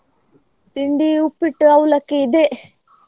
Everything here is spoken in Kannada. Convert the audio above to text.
ತಿಂಡಿ Uppittu, Avalakki ಇದೆ.